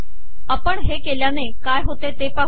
आपण हे केल्याने काय होते ते पाहू